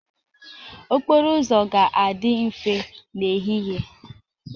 Okporo ụzọ ga-adị mfe n'ehihie